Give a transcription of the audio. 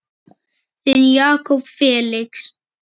Þinn Jakob Felix.